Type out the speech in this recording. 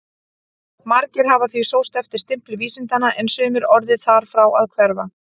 Margir hafa því sóst eftir stimpli vísindanna en sumir orðið þar frá að hverfa.